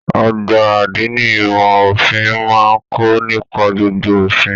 Ọgbà adini ìmọ òfin máa n kọ nípa gbogbo òfin.